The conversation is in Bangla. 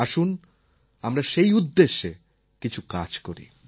আসুন আমরা সেই উদ্দেশ্যে কিছু কাজ করি